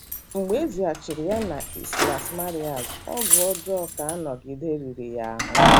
Mgbe e zigachara ya na Islas Marías, ọgwụ ọjọọ ka anọghịde riri ya ahụ́.